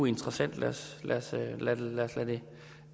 interessant lad os lade det